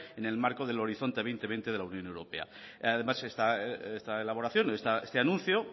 en el marco del horizonte dos mil veinte de la unión europea además esta elaboración o este anuncio